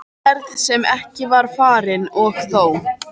Ferð sem ekki var farin- og þó!